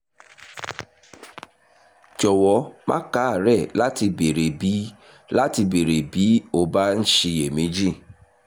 jọ̀wọ́ má káàárẹ̀ láti béèrè bí láti béèrè bí o bá ń ṣiyèméjì